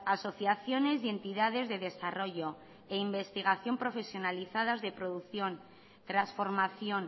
asociaciones y entidades de desarrollo e investigación profesionalizadas de producción transformación